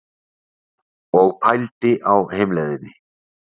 Og pældi á heimleiðinni.